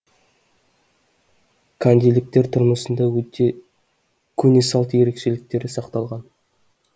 кандиліктер тұрмысында көне салт ерекшеліктері сақталған